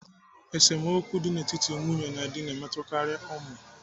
Esemokwu dị n'etiti nwunye na di na-emetụtakarị ụmụ.